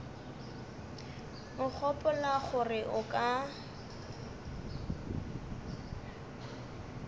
o gopola gore o ka